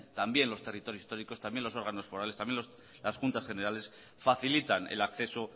también los territorios históricos también los órganos forales también las juntas generales facilitan el acceso